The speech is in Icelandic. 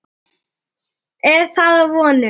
Er það að vonum.